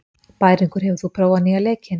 Bæringur, hefur þú prófað nýja leikinn?